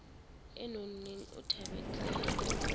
e nonneng o thabetse ha